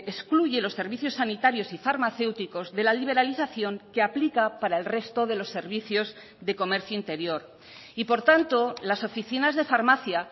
excluye los servicios sanitarios y farmacéuticos de la liberalización que aplica para el resto de los servicios de comercio interior y por tanto las oficinas de farmacia